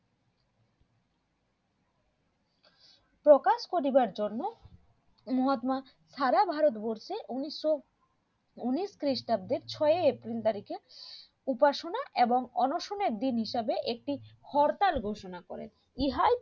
প্রকাশ করিবার জন্য মহাত্মা সারা ভারতবর্ষে উনিশশো উনিশ খ্রিস্টাব্দে ছয় april তারিখে উপাসনা এবং অনশনের দিন হিসাবে একটি হরতাল ঘোষণা করেন ইহাই